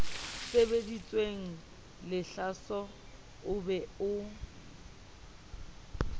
sebeditsweng lehlaso o be o